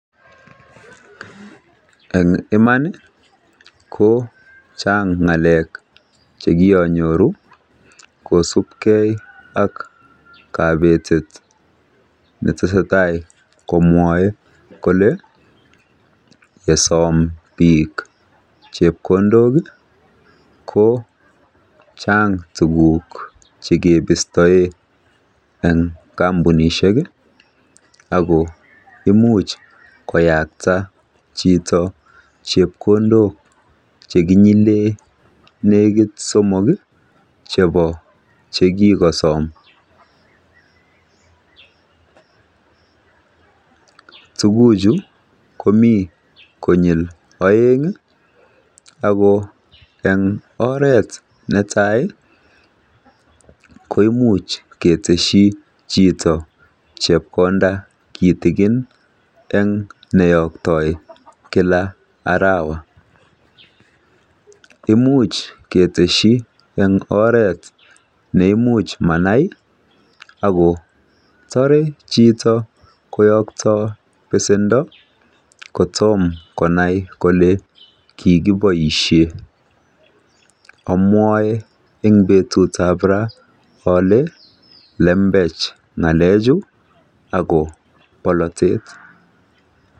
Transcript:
Eng iman ko chang ng'alek che kianyoru kosupgei ak kabetet ne tesetai komwaei kole nesom biik chepkondok ko chang tukuk che ketestoi eng kampunishek ak ko imuchi kowekta chito chepkondok chekinyile negit somok chebo che kikasom. Tukuchu komi konyil oeng, ako eng oret ne tai koimuch keteshi chito chepkonda kitikin eng neyoktoi kila arawa. Imuch keteshi eng oret ne imuch manai ak kotoret chito kowekta besendo kotom konai kole kikiboishe. amwae eng betut ab ra ole lembech ako polatet.